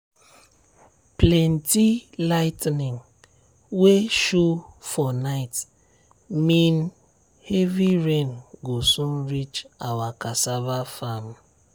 plenty lightning wey show for night mean heavy rain go soon reach our cassava farm.